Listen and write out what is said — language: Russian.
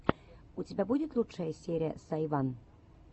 у тебя будет лучшая серия сайван